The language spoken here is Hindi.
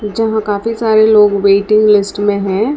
काफी सारे लोग वेटिंग लिस्ट में है।